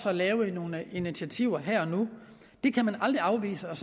at lave nogle initiativer her og nu det kan man aldrig afvise og